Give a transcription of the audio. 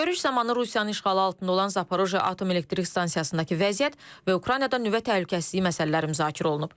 Görüş zamanı Rusiyanın işğalı altında olan Zaporojye Atom Elektrik Stansiyasındakı vəziyyət və Ukraynada nüvə təhlükəsizliyi məsələləri müzakirə olunub.